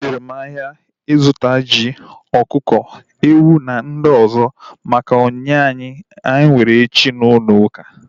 E jere m ahịa zụta ji, ọkụkọ, ewu na ihe ndị ọzọ maka onyinye anyị nwere echi n'ulouka